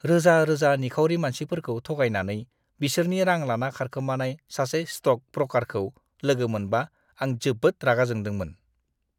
रोजा-रोजा निखावरि मानसिफोरखौ थगायनानै बिसोरनि रां लाना खारखोमानाय सासे स्ट'क ब्रकारखौ लोगो मोनबा आं जोबोद रागा जोंदोंमोन।